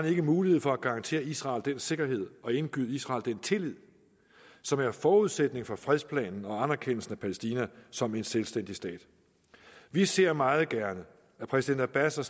ikke mulighed for at garantere israel den sikkerhed og indgyde israel den tillid som er forudsætningen for fredsplanen og anerkendelsen af palæstina som en selvstændig stat vi ser meget gerne at præsident abbas og